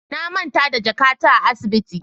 Na manta da jakata a asibiti.